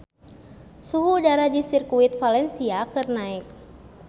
Suhu udara di Sirkuit Valencia keur naek